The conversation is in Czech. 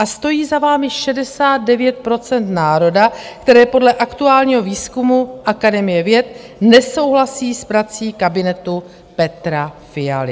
A stojí za vámi 69 % národa, které podle aktuálního výzkumu Akademie věd nesouhlasí s prací kabinetu Petra Fialy.